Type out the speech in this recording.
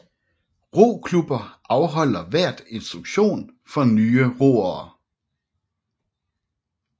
Roklubber afholder hvert instruktion for nye roere